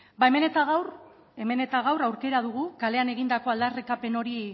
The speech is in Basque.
ba hemen eta gaur hemen eta gaur aukera dugu kalean egindako aldarrikapen